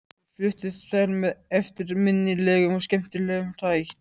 Þeir fluttu þær með eftirminnilegum og skemmtilegum hætti.